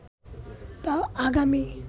তা আগামী